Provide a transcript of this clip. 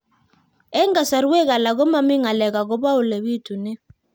Eng' kasarwek alak ko mami ng'alek akopo ole pitunee